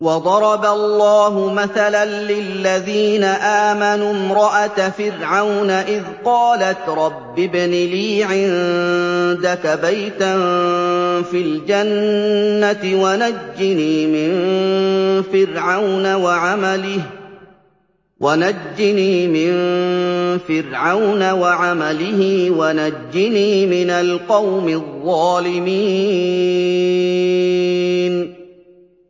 وَضَرَبَ اللَّهُ مَثَلًا لِّلَّذِينَ آمَنُوا امْرَأَتَ فِرْعَوْنَ إِذْ قَالَتْ رَبِّ ابْنِ لِي عِندَكَ بَيْتًا فِي الْجَنَّةِ وَنَجِّنِي مِن فِرْعَوْنَ وَعَمَلِهِ وَنَجِّنِي مِنَ الْقَوْمِ الظَّالِمِينَ